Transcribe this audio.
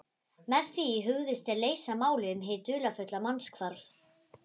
Með því hugðust þeir leysa málið um hið dularfulla mannshvarf.